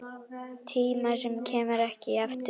Tíma sem kemur ekki aftur.